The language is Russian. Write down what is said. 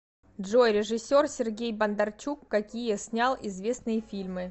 джой режиссер сергеи бондарчук какие снял известные фильмы